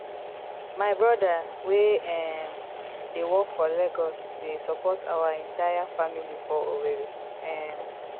my brother wey um dey work for lagos dey support our entire family for owerri um